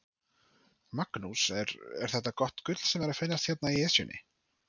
Magnús, er, er þetta gott gull sem er að finnast hérna í Esjunni?